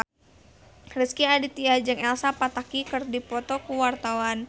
Rezky Aditya jeung Elsa Pataky keur dipoto ku wartawan